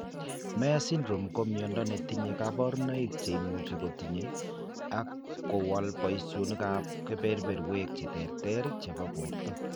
Myhre syndrome ko miondo netinye kaborunoik cheimuchi kotiny ak kowal boishonikab kebeberwek cheterter chebo borto